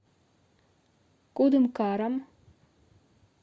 кудымкаром